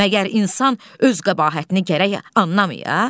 Məgər insan öz qəbahətini gərək annamaya?